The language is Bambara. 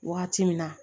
Wagati min na